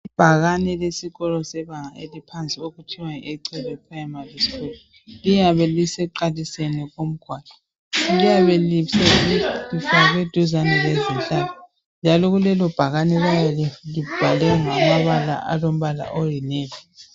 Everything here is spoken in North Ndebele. ibhakane lesikolo sebanga eliphansi okuthiwa yi echebe primary school liyabe lisekuqaliseni komgwaqo liyabe lifakwe duzane lezihlahla njalo kulelobhakane kuyabe kubhalwe ngamabala aolombala oyi navy